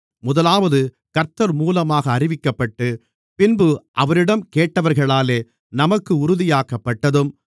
முதலாவது கர்த்தர் மூலமாக அறிவிக்கப்பட்டு பின்பு அவரிடம் கேட்டவர்களாலே நமக்கு உறுதியாக்கப்பட்டதும்